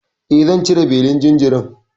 E, zan cire belin jinjirin.